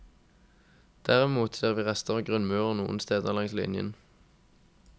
Derimot ser vi rester av grunnmurer noen steder langs linjen.